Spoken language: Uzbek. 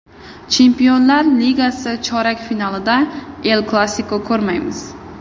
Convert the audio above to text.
Chempionlar Ligasi chorak finalida El-Klassiko ko‘rmaymiz.